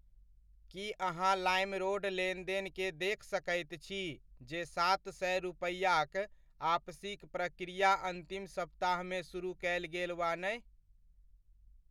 की अहाँ लाइमरोड लेनदेन के देख सकैत छी जे सात सए रुपैआक आपसीक प्रक्रिया अन्तिम सप्ताहमे सुरुह कयल गेल वा नहि।